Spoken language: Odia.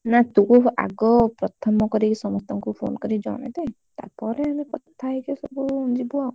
ନା ତୁ କହିବୁ ତୁ ଆଗ ପ୍ରଥମ କରିକି ସମସ୍ତଙ୍କୁ ଫୋନ କରିକି ଜଣେଇଦେ ତାପରେ ଆମେ କଥା ହେଇକି ସବୁ ଯିବୁ ଆଉ।